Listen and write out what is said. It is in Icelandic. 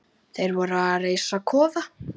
Þeir voru að reisa kofa.